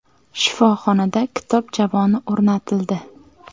Shifoxonada kitob javoni o‘rnatildi.